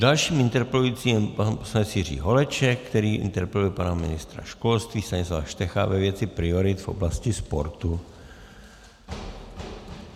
Dalším interpelujícím je pan poslanec Jiří Holeček, který interpeluje pana ministra školství Stanislava Štecha ve věci priorit v oblasti sportu.